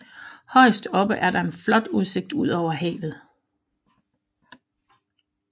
Højst oppe er der en flot udsigt ud over havet